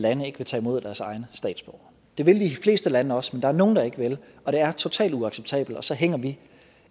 lande ikke vil tage imod deres egne statsborgere det vil de fleste lande også men der er nogle der ikke vil og det er totalt uacceptabelt og så hænger vi